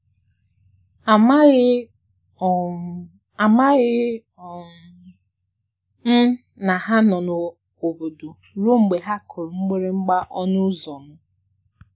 Amaghị um Amaghị um m na ha nọ n'obodo ruo mgbe ha kụrụ mgbịrịgba ọnụ ụzọ m.